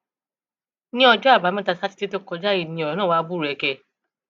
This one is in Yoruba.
ní ọjọ àbámẹta sátidé tó kọjá yìí ni ọrọ náà wàá búrẹkẹ